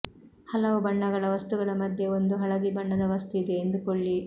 ಹಲವು ಬಣ್ಣಗಳ ವಸ್ತುಗಳ ಮಧ್ಯೆ ಒಂದು ಹಳದಿ ಬಣ್ಣದ ವಸ್ತು ಇದೆ ಎಂದುಕೊಳ್ಳಿ